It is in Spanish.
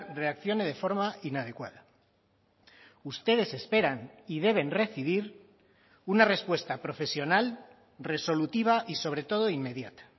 reaccione de forma inadecuada ustedes esperan y deben recibir una respuesta profesional resolutiva y sobre todo inmediata